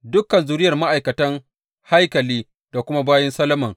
Dukan zuriyar ma’aikatan haikali, da kuma bayin Solomon